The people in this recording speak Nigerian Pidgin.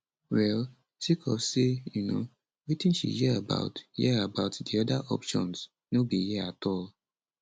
well sake of say um wetin she hear about hear about di oda options no be hear at all